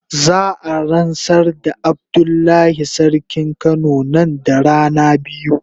Za a ransar da Abdullahi sarkin kano nan da rana biyu.